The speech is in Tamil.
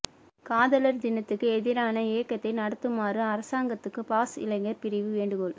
காதலர் தினத்துக்கு எதிரான இயக்கத்தை நடத்துமாறு அரசாங்கத்துக்கு பாஸ் இளைஞர் பிரிவு வேண்டுகோள்